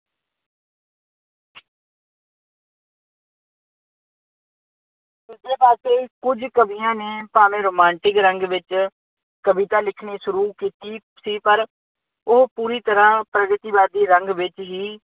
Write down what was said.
ਦੂਜੇ ਪਾਸੇ ਕੁੱਝ ਕਵੀਆਂ ਨੇ ਭਾਵੇਂ ਰੁਮਾਂਟਿਕ ਰੰਗ ਵਿੱਚ ਕਵਿਤਾ ਲਿਖਣੀ ਸ਼ੁਰੂ ਕੀਤੀ ਸੀ ਪਰ ਉਹ ਪੂਰੀ ਤਰ੍ਹਾਂ ਪ੍ਰਗਤੀਵਾਦੀ ਰੰਗ ਵਿੱਚ ਹੀ